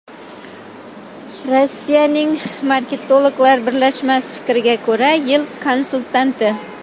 Rossiyaning marketologlar birlashmasi fikriga ko‘ra, yil konsultanti.